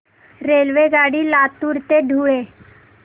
रेल्वेगाडी लातूर ते धुळे